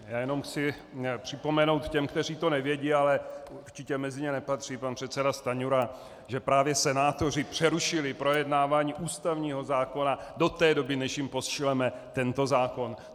Já jenom chci připomenout těm, kteří to nevědí, ale určitě mezi ně nepatří pan předseda Stanjura, že právě senátoři přerušili projednávání ústavního zákona do té doby, než jim pošleme tento zákon.